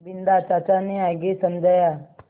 बिन्दा चाचा ने आगे समझाया